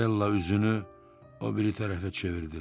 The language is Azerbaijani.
Marella üzünü o biri tərəfə çevirdi.